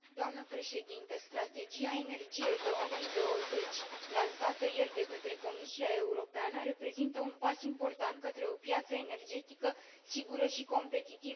Strategia Energie 2020, lansată ieri de către Comisia Europeană, reprezintă un pas important către o piață energetică sigură și competitivă în Europa.